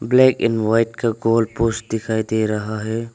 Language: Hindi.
ब्लैक एंड वाइट का गोल पोस्ट दिखाई दे रहा है।